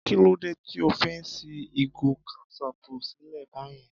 Kí ló dé tí o fi ṣí ìgò kẹ́sọpù sílẹ̀ báyen?